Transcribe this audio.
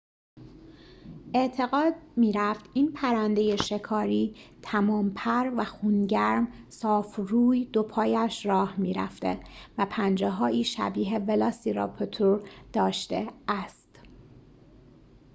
اعتقاد می‌رفت این پرنده شکاری تمام‌پر و خون‌گرم صاف روی دوپایش راه می‌رفته و پنجه‌هایی شبیه ولاسیراپتور داشته است